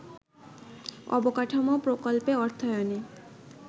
অবকাঠামো প্রকল্পে অর্থায়নে